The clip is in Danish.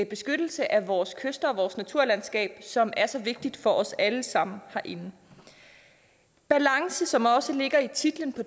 beskyttelse af vores kyster og vores naturlandskab som er så vigtigt for os alle sammen herinde balance som også ligger i titlen på